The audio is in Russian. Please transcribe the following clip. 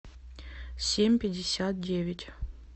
семь пятьдесят девять